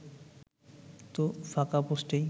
তো ফাঁকা পোস্টেই